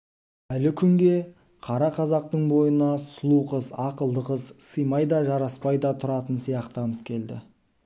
әлі күнге қара қазақтың бойына сұлу қыз ақылды қыз сыймай да жараспай да тұратын сияқтанып келді